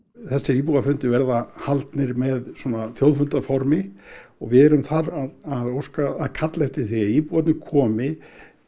þessir íbúafundir verða haldnir með svona þjóðfundaformi og við erum þar að kalla eftir því að íbúarnir komi